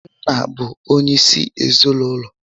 Nna bụ onyé isi ezinụlọ